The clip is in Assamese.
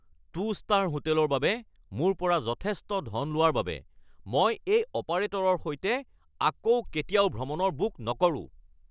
টু ষ্টাৰ হোটেলৰ বাবে মোৰ পৰা যথেষ্ট ধন লোৱাৰ বাবে মই এই অপাৰেটৰৰ সৈতে আকৌ কেতিয়াও ভ্ৰমণৰ বুক নকৰোঁ